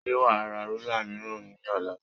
Ṣé wà á ra rúlà mìíràn ní ọ̀la?